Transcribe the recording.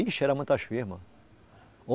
Ixi, era muitas firmas.